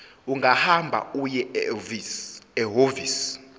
ungahamba uye ehhovisi